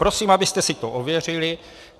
Prosím, abyste si to ověřili.